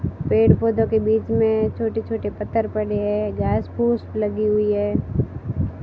पेड़ पौधे पौधों के बीच में छोटे छोटे पत्थर पड़े हैं घास फूस लगी हुई है।